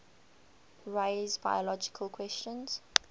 raise biological questions